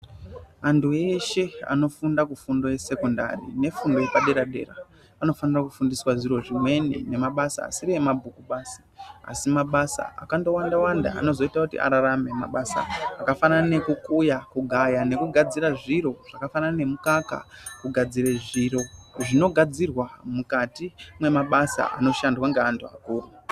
Anthu eshe anofunda kufundo yesekondari nefundo yepadera-dera anofanira kufundiswa zviro zvimweni nemabasa asiri emabhuku basi asi mabasa akandowanda wanda anozoita kuti ararame mabasa akafanana nekukuya kugaya nekugadzira zviro zvakafanana nemukaka kugadzire zviro zvinogadzirwa mukati memabasa anoshandwa ngeanthu akuru.